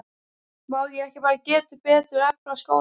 Má ekki bara gera betur, efla skólann?